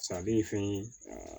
ale ye fɛn ye aa